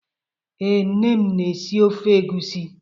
Ee, nne m na-esi ofe egusi.